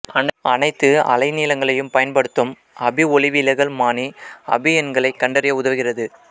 அனைத்து அலைநீளங்களையும் பயன்படுத்தும் அபி ஒளிவிலகல்மானி அபி எண்களைக் கண்டறிய உதவுகிறது